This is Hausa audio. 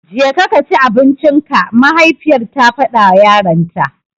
Jeka kaci abincinka! mahaifiyar ta faɗawa yaranta.